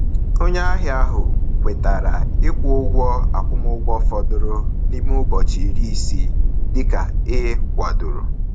Onye ahịa ahụ kwetara ịkwụ ụgwọ akwụmụgwọ fọdụrụ n’ime ụbọchị iri isii dịka e kwadoro.